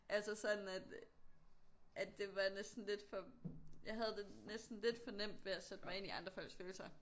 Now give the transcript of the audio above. Altså sådan at at det var næsten lidt for jeg havde det næsten lidt for nemt ved at sætte mig ind i andre folks følelser